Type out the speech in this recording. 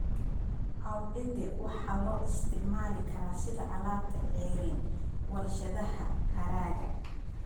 Cowhide waxaa loo isticmaali karaa sida alaabta ceeriin warshadaha haragga.